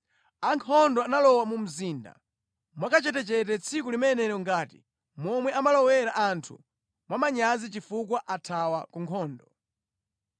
Ankhondo analowa mu mzinda mwakachetechete tsiku limenelo ngati momwe amalowera anthu mwamanyazi chifukwa athawa ku nkhondo.